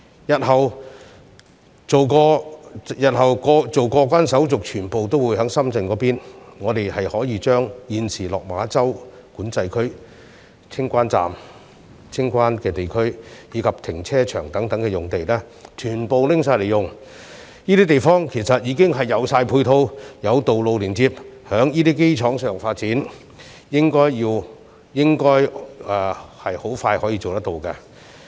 日後，所有過關手續均會在深圳進行，所以可將現時的落馬洲管制站、清關區及停車場等用地全部用作發展，因為這些用地已有配套及連接道路，如能在這基礎上進行發展，應很快可看到成效。